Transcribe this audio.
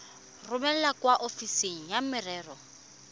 romele kwa ofising ya merero